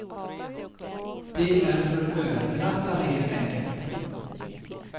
De är för överbelastade helt enkelt.